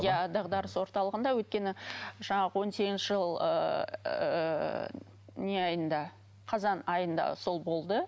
иә дағдарыс орталығында өйткені жаңағы он сегізінші жыл ыыы не айында қазан айында сол болды